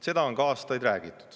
Seda on ka aastaid räägitud.